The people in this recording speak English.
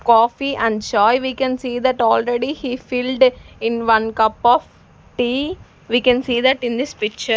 Coffee and chai we can see that already he filled in one cup of tea we can see that in this picture.